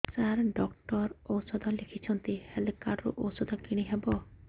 ସାର doctor ଔଷଧ ଲେଖିଛନ୍ତି health card ରୁ ଔଷଧ କିଣି ହେବ